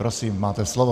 Prosím, máte slovo.